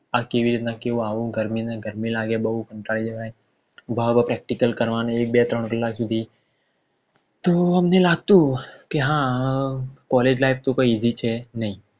આ કેવી રીતના કેવું ગરમી લગર બોવ કંટાળી જવાય ઉભા ઉભા Practical કરવાના એક બે ત્રણ કલાક સુધી તો અમને લાગતું કે હા College life તો કઈ ઇજી છે નઈ